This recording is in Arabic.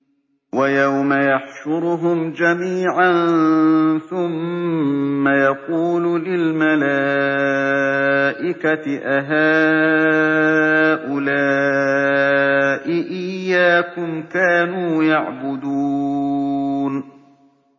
وَيَوْمَ يَحْشُرُهُمْ جَمِيعًا ثُمَّ يَقُولُ لِلْمَلَائِكَةِ أَهَٰؤُلَاءِ إِيَّاكُمْ كَانُوا يَعْبُدُونَ